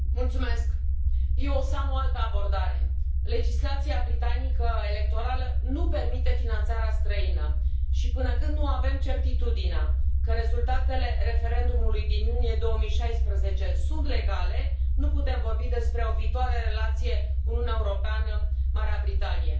Domnule președinte, eu o să am o altă abordare. Legislația electorală britanică nu permite finanțarea străină și, până când nu avem certitudinea că rezultatele referendumului din iunie 2016 sunt legale, nu putem vorbi despre o viitoare relație Uniunea Europeană Marea Britanie.